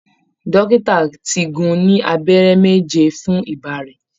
Dọ́kítà ti gún-un ní abẹrẹ méje fún ìbà rẹ̀